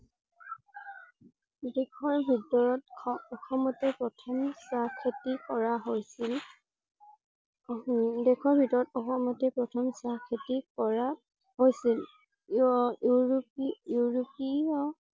দেশৰ ভিতৰত শঅসমতে প্ৰথম চাহ খেতি কৰা হৈছিল। দেশৰ ভিতৰত অসমতে প্ৰথম চাহ খেতি কৰা হৈছিল। য়া ইউৰোপীয়